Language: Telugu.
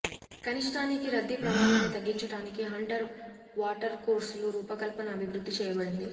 కనిష్టానికి రద్దీ ప్రమాదాన్ని తగ్గించటానికి హంటర్ వాటర్కోర్సుల రూపకల్పన అభివృద్ధి చేయబడింది